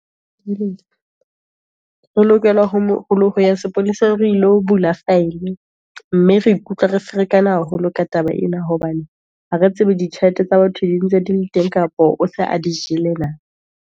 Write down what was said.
o lokela ho ya sepolesa re ilo bula file, mme re ikutlwa re ferekana haholo ka taba ena, hobane ha re tsebe ditjhelete tsa batho dintse dile teng, kapa o se a di jele na.